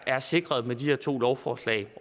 er sikret med de her to lovforslag